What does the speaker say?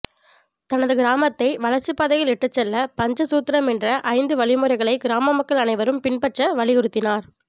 தனது கிராமத்தை வளர்ச்சிப்பாதையில் இட்டுச் செல்ல பஞ்சசூத்ரம் என்ற ஐந்து வழிமுறைகளை கிராம மக்கள் அனைவரும் பின்பற்ற வலியுறுத்தினார்